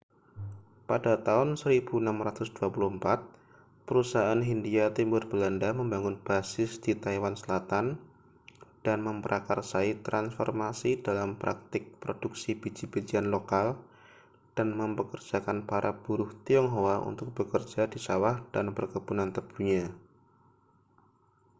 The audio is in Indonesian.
pada tahun 1624 perusahaan hindia timur belanda membangun basis di taiwan selatan dan memprakarsai transformasi dalam praktik produksi biji-bijian lokal dan mempekerjakan para buruh tionghoa untuk bekerja di sawah dan perkebunan tebunya